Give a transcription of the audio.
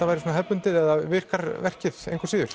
verið svona hefðbundið eða virkar verkið engu að síður